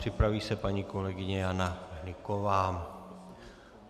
Připraví se paní kolegyně Jana Hnyková.